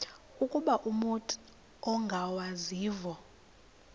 ukuba umut ongawazivo